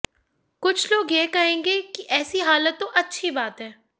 कुछ लोग यह कहेंगे कि ऐसी हालत तो अच्छी बात है